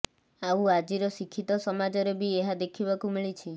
ଆଉ ଆଜିର ଶିକ୍ଷିତ ସମାଜରେ ବି ଏହା ଦେଖିବାକୁ ମିଳିଛି